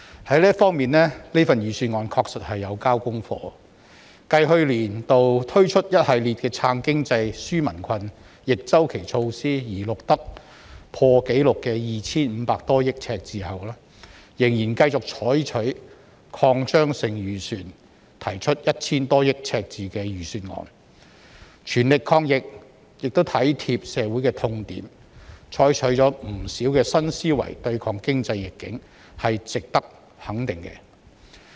就這方面，預算案確實已"交功課"，繼去年度推出一系列"撐經濟、紓民困"逆周期措施而錄得破紀錄的 2,500 多億元赤字後，政府仍然繼續採取擴張性預算，提出 1,000 多億元赤字的預算案，全力抗疫亦體貼社會的痛點，採取了不少新思維對抗經濟逆境，這是值得肯定的。